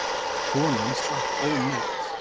Konan slapp ómeidd.